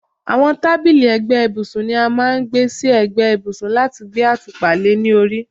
àwọn tábìlì ẹ̀gbẹ́ ibùsùn ni a máà ń gbé sí ẹ̀gbẹ́ ibùsùn láti gbé àtùpà le ní orí